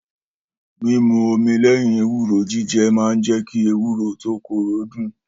Mímù òmí lẹ́yìn èwúrò ji jẹ maà ń jẹ ki èwúrò to kòró dùn